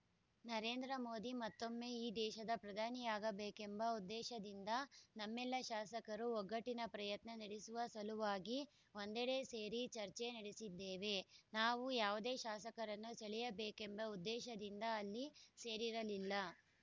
ನರೇಂದ್ರ ಮೋದಿ ಮತ್ತೊಮ್ಮೆ ಈ ದೇಶದ ಪ್ರಧಾನಿಯಾಗಬೇಕೆಂಬ ಉದ್ದೇಶದಿಂದ ನಮ್ಮೆಲ್ಲ ಶಾಸಕರು ಒಗ್ಗಟ್ಟಿನ ಪ್ರಯತ್ನ ನಡೆಸುವ ಸಲುವಾಗಿ ಒಂದೆಡೆ ಸೇರಿ ಚರ್ಚೆ ನಡೆಸಿದ್ದೇವೆ ನಾವು ಯಾವುದೇ ಶಾಸಕರನ್ನು ಸೆಳೆಯಬೇಕೆಂಬ ಉದ್ದೇಶದಿಂದ ಅಲ್ಲಿ ಸೇರಿರಲಿಲ್ಲ